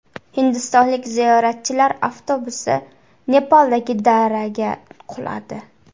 Hindistonlik ziyoratchilar avtobusi Nepaldagi daraga quladi.